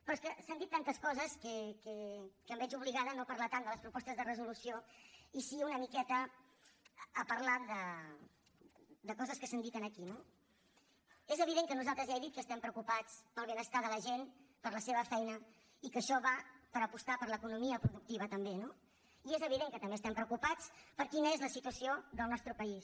però és que s’han dit tantes coses que em veig obligada a no parlar tant de les propostes de resolució i sí una miqueta a parlar de coses que s’han dit aquí no és evident que nosaltres ja ho he dit estem preocupats pel benestar de la gent per la seva feina i que això va per apostar per l’economia productiva també no i és evident que també estem preocupats per quina és la situació del nostre país